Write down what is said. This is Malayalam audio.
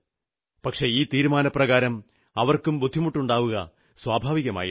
പക്ഷേ ഈ തീരുമാനപ്രകാരം അവർക്കും ബുദ്ധിമുട്ടുണ്ടാവുക സ്വാഭാവികമായിരുന്നു